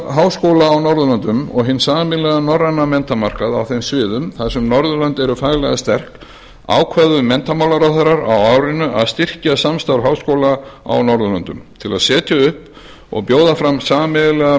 háskóla á norðurlöndum og hinn sameiginlega norræna menntamarkað á þeim sviðum þar sem norðurlönd eru faglega sterk ákváðu menntamálaráðherrarnir á árinu að styrkja samstarf háskóla á norðurlöndum til að setja upp og bjóða fram sameiginlega